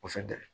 Kosɛbɛ